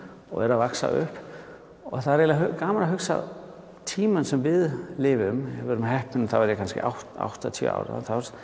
og er að vaxa upp og það er eiginlega gaman að hugsa tímann sem við lifum ef við erum heppin eru það kannski áttatíu ár